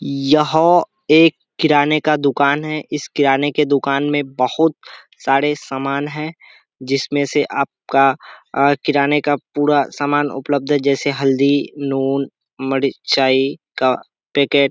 यहाँ एक किराने का दुकान है। इस किराने की दुकान में बहुत सारे समान हैं जिसमें से आपका अ किराने का पूरा सामान उपलब्ध है जैसे हल्दी नून मिरचाइ का पैकेट ।